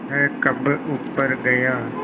वह कब ऊपर गया